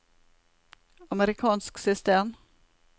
amerikansk system